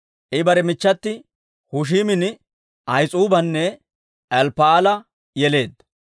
I bare machati Hushiimin, Ahis'uubanne Elppa'aala yeleedda.